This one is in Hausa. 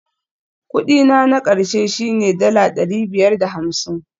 Kudi na na ƙarshe shine dala ɗari biyar da hamsin